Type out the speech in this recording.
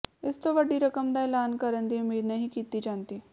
ਇਸ ਤੋਂ ਵੱਡੀ ਰਕਮ ਦਾ ਐਲਾਨ ਕਰਨ ਦੀ ਉਮੀਦ ਨਹੀਂ ਕੀਤੀ ਜਾਂਦੀ